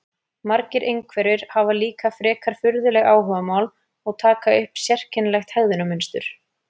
Margir einhverfir hafa líka frekar furðuleg áhugamál og taka upp sérkennilegt hegðunarmynstur.